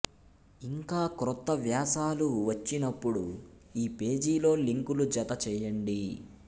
ఇంకా క్రొత్త వ్యాసాలు వచ్చినప్పుడు ఈ పేజీలో లింకులు జత చేయండి